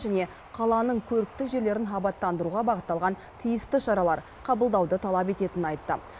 және қаланың көрікті жерлерін абаттандыруға бағытталған тиісті шаралар қабылдауды талап ететінін айтты